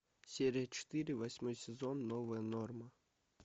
серия четыре восьмой сезон новая норма